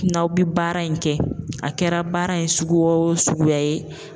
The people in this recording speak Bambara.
N'aw bi baara in kɛ, a kɛra baara in suguya o suguya ye.